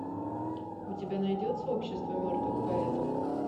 у тебя найдется общество мертвых поэтов